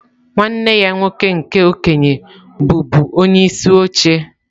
Nwanne ya nwoke nke okenye bụbu onyeisi oche.